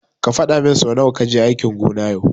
Ka fadamin su nawa kaje aikin gona yau.